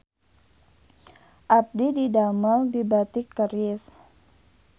Abdi didamel di Batik Keris